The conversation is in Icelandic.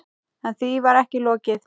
En því var ekki lokið.